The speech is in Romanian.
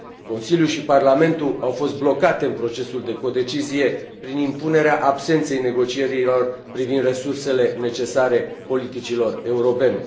Consiliul și Parlamentul au fost blocate în procesul de codecizie, prin impunerea absenței negocierilor privind resursele necesare politicilor europene.